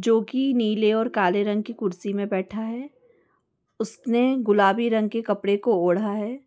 जो कि नीले और काले रंग की कुर्सी में बैठा है उसने गुलाबी रंग के कपड़े को ओढ़ा है